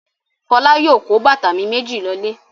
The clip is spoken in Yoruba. Fọlá yóò kó bàtà mi méjì lọlé.